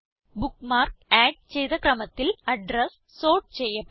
bookmark add ചെയ്ത ക്രമത്തിൽ address sort ചെയ്യപ്പെട്ടു